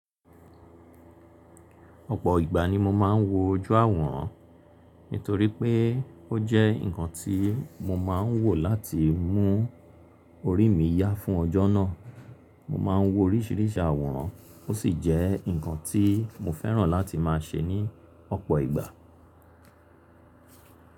Ọ̀pọ̀ ìgbà ni mo máa ń wo ojú àwòrán, nítorí pé ó jẹ́ nǹkan tí mo máa ń wò láti mú orí mi yá fún ọjọ́ náà. Mo máa ń wo oríṣìíríṣìí àwòrán ó sì jẹ́ nǹkan tí mo fẹ́ràn láti máa ṣe ní ọ̀pọ̀ ìgbà.